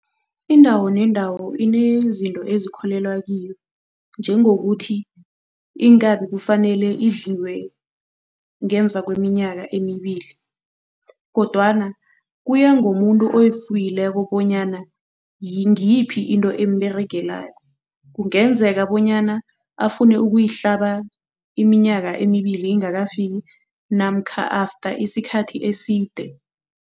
Indawo nendawo inezinto ezikholelwa kiyo, njengokuthi iinkabi kufanele idliwe ngemva kweminyaka emibili kodwana kuya ngomuntu oyifuyileko bonyana ngiyiphi into emberegelako. Kungenzeka bonyana afune ukuyihlaba iminyaka emibili ingakafiki namkha after isikhathi eside.